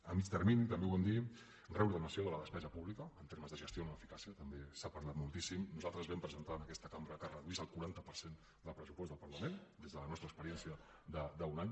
a mig termini també ho vam dir reordenació de la despesa pública en termes de gestió en l’eficàcia també s’ha parlat moltíssim nosaltres vam presentar en aquesta cambra que es reduís el quaranta per cent del pressupost del parlament des de la nostra experiència d’un any